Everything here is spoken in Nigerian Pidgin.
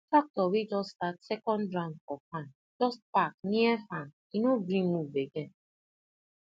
tractor wey just start second round for farm just park near farm e no gree move again